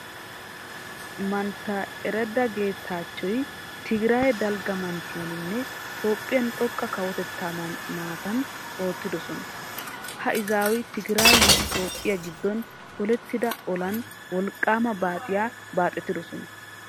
Mantta eredda geetaachchoy tigiraaye dalgga manttiyaninne toophphiyan xoqqa kawotettaa maatan oottidosona. Ha izaaway tigiraayenne toophphiya giddon polettida olan wolqqaama baaxiya baaxetidosona.